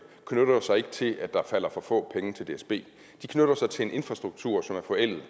knytter sig ikke til at der falder for få penge af til dsb de knytter sig til en infrastruktur som er forældet